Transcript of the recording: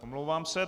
Omlouvám se.